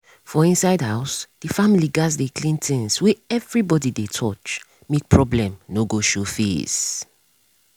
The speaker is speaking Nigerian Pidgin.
for inside house the family gats dey clean things wey everybody dey touch make problem no go show face.